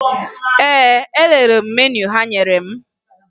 Ee, elelere m meniu ha nyere m